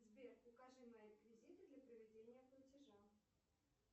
сбер укажи мои реквизиты для проведения платежа